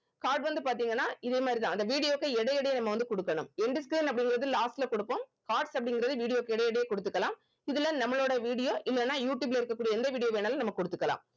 card வந்து பாத்தீங்கன்னா இதே மாதிரி தான் அந்த video வுக்கு இடைய இடைய நம்ம வந்து குடுக்கணும் அப்படிங்கறது last ல குடுப்போம் cards அப்படிங்கறது video க்கு இடைய இடைய குடுத்துக்கலாம் இதுல நம்மளோட video இல்லனா யூட்டியூப்ல இருக்ககூடிய எந்த video வேணாலும் நம்ம குடுத்துக்கலாம்